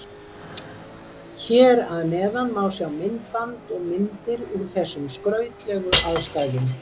Hér að neðan má sjá myndband og myndir úr þessum skrautlegu aðstæðum.